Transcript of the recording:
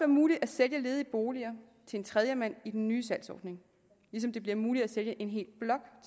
muligt at sælge ledige boliger til en tredjemand i den nye salgsordning ligesom det bliver muligt at sælge en hel blok